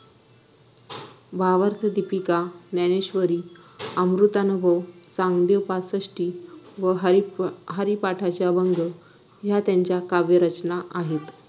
भावार्थदीपिका ज्ञानेश्वरी अमृतानुभव चांगदेवपासष्टी व हरी हरिपाठाचे अभंग ह्या त्यांच्या काव्यरचना आहेत